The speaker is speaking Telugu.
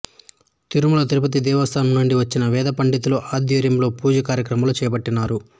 తిరుమల తిరుపతి దేవస్థానం నుండి వచ్చిన వేదపండితుల ఆధ్వర్యంలో పూజ కార్యక్రమాలను చేపట్టినారు